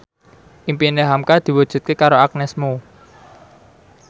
impine hamka diwujudke karo Agnes Mo